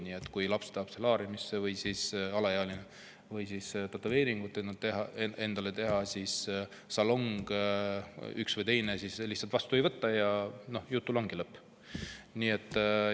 Kui laps või alaealine tahab solaariumisse minna või tahab endale tätoveeringut teha, siis salong teda lihtsalt vastu ei võta ja jutul ongi lõpp.